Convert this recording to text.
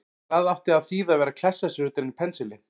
Hvað átti að þýða að vera að klessa sér utan í pensilinn!